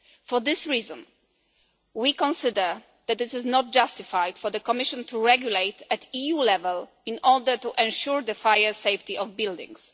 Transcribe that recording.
For this reason we consider that it is not justified for the Commission to regulate at EU level in order to ensure the fire safety of buildings.